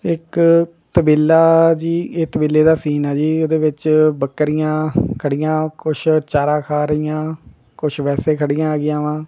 ਇੱਕ ਤਬੇਲਾ ਜੀ ਇਹ ਤਬੇਲੇ ਦਾ ਸੀਨ ਆ ਜੀ ਉਹਦੇ ਵਿੱਚ ਬਕਰੀਆਂ ਖੜੀਆਂ ਕੁਛ ਚਾਰਾ ਖਾ ਰਹੀਆਂ ਕੁਛ ਵੈਸੇ ਖੜੀਆਂ ਹੈਗਿਆਂ ਵਾ।